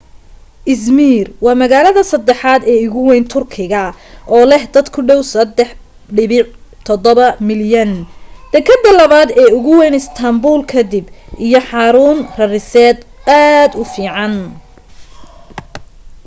izmir waa magaalada saddexaad ee ugu wayn turkiga oo leh dad ku dhaw 3.7 milyan dekeddda labaad ee ugu wayn istaanbuul ka dib iyo xarun rariseed aad u fiican